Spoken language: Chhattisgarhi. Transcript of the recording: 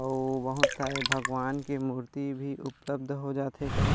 अऊ बहुत सारे भगवान के मूर्ति भी उपलब्ध हो जाथे एकरा--